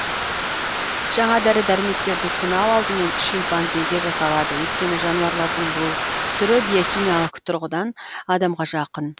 жаңа дәрі дәрмектерді сынау алдымен шимпанзеге жасалады өйткені жануарлардың бұл түрі биохимиялық тұрғыдан адамға жақын